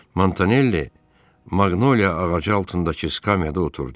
Montanelli Maqnoliya ağacı altındakı skamyada oturdu.